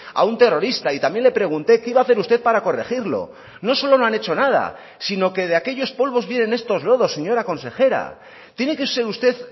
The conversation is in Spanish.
a un terrorista y también le pregunté qué iba a hacer usted para corregirlo no solo no han hecho nada sino que de aquellos polvos vienen estos lodos señora consejera tiene que ser usted